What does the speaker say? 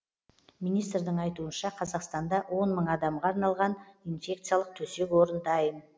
министрдің айтуынша қазақстанда он мың адамға арналған инфекциялық төсек орын дайын